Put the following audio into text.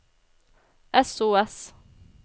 sos